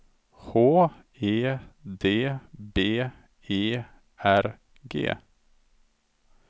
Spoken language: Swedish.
H E D B E R G